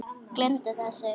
Gleymdu þessu.